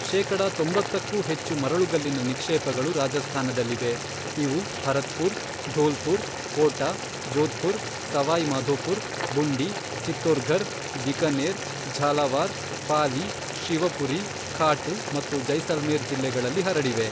ಶೇಕಡ ತೊಂಬತ್ತಕ್ಕೂ ಹೆಚ್ಚು ಮರಳುಗಲ್ಲಿನ ನಿಕ್ಷೇಪಗಳು ರಾಜಸ್ಥಾನದಲ್ಲಿವೆ, ಇವು ಭರತ್ಪುರ್, ಧೋಲ್ಪುರ್, ಕೋಟಾ, ಜೋಧ್ಪುರ್, ಸವಾಯ್ ಮಾಧೋಪುರ್, ಬುಂಡಿ, ಚಿತ್ತೋರ್ಘರ್, ಬಿಕನೇರ್, ಝಾಲಾವಾರ್, ಪಾಲಿ, ಶಿವಪುರಿ, ಖಾಟು ಮತ್ತು ಜೈಸಲ್ಮೇರ್ ಜಿಲ್ಲೆಗಳಲ್ಲಿ ಹರಡಿವೆ.